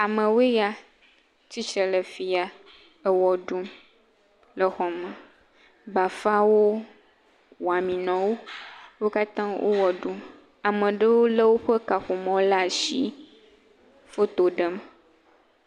Amewoe ya, tsitsre le fi ya ewɔ ɖum le xɔme. Bafãwo, wɔamenɔwo, wo katã wo wɔ ɖum. Ame ɖewo lé woƒe kaƒomɔ̃wo laa ashi foto ɖem.